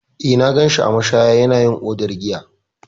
Eh, na gan shi a mashaya yana yin odar giya.